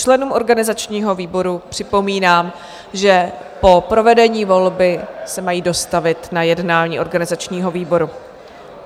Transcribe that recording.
Členům organizačního výboru připomínám, že po provedení volby se mají dostavit na jednání organizačního výboru.